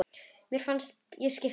Mér fannst ég skipta máli.